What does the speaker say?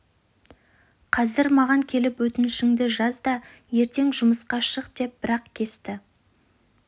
қазір маған келіп өтінішіңді жаз да ертең жұмысқа шық деп бір ақ кесті